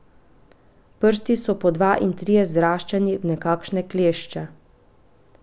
Prsti so po dva in trije zraščeni v nekakšne klešče.